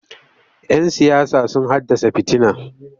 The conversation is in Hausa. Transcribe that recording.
Yan siyasa sun haddasa fitina.